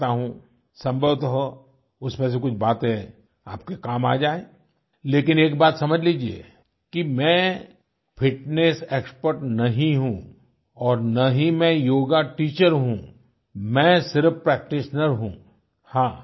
जो मैं करता हूँ संभवतः उसमें से कुछ बातें आपके काम आ जाए लेकिन एक बात समझ लीजिए कि मैं फिटनेस एक्सपर्ट नहीं हूँ और ना ही मैं योगा टीचर हूँ मैं सिर्फ प्रैक्टीशनर हूँ